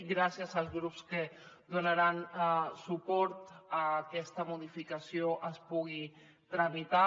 gràcies als grups que donaran suport a que aquesta modificació es pugui tramitar